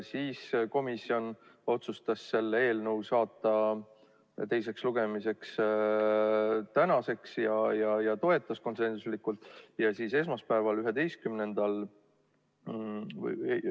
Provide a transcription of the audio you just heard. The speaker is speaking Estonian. Komisjon otsustas selle eelnõu saata teiseks lugemiseks tänaseks ja toetas konsensuslikult.